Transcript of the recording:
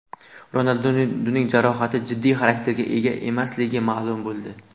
Ronalduning jarohati jiddiy xarakterga ega emasligi ma’lum bo‘ldi.